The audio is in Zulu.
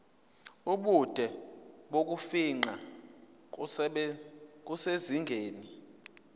ubude bokufingqa kusezingeni